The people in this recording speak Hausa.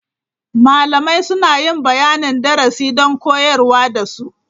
Malamai suna yin bayanin darasi don koyarwa da su.